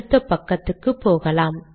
அடுத்த பக்கம் போகலாம்